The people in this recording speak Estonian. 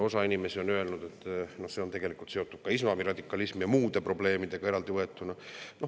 Osa inimesi on öelnud, et see on seotud ka islami radikalismi ja muude probleemidega, eraldi võetuna.